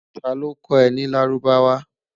ta ló kò é ní lárúbáwá?